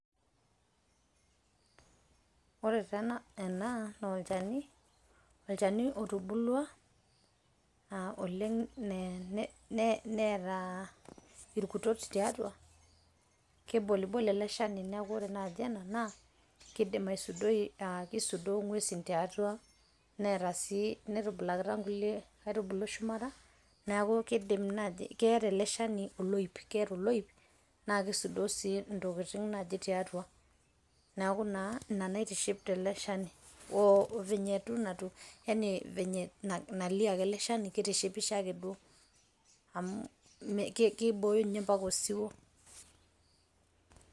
Ore taa ena enaa naa olchani, olchani otubulua oleng neeta neeta ilkutot tiatua. Kebolibolo ele shani niaku ore naaji ena ,naa kidim aisudoi, keisudoo ng`uesin tiatua neeta sii netubulakita nkulie aitubulu shumata. Niaku kidim naaji keeta ele shani oloip naa kisuudo sii ntokini naaji tiatua. Niaku naa ina naitiship tele shani o venye to natiu ele shani kitishipisho ake duo amu kibooyo ninye mpaka osiwuo.